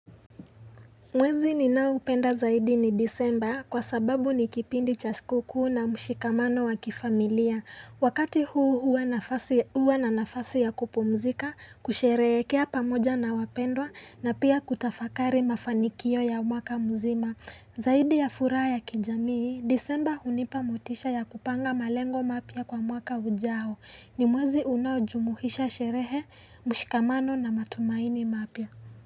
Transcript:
Mwezi ninaoupenda zaidi ni disemba kwa sababu ni kipindi cha siku kuu na mshikamano wa kifamilia. Wakati huu hua na nafasi ya kupumzika, kusherehekea pamoja na wapendwa na pia kutafakari mafanikio ya mwaka mzima. Zaidi ya furaha ya kijamii, disemba hunipa motisha ya kupanga malengo mapya kwa mwaka ujao. Ni mwezi unaojumuisha sherehe, mshikamano na matumaini mapya.